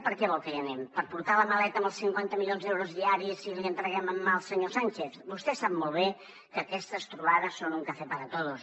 per què vol que hi anem per portar la maleta amb els cinquanta milions d’euros diaris i li entreguem en mà al senyor sánchez vostè sap molt bé que aquestes trobades són un café para todos